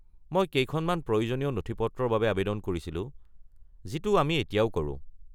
মই কেইখনমান প্ৰয়োজনীয় নথিপত্ৰৰ বাবে আৱেদন কৰিছিলোঁ, যিটো আমি এতিয়াও কৰোঁ।